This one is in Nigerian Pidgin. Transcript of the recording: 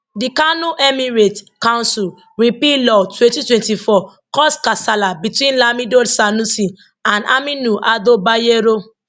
di kano emirates council repeal law 2024 cause kasala between lamido sanusi and aminu ado bayero